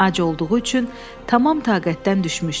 Ac olduğu üçün tamam taqətdən düşmüşdü.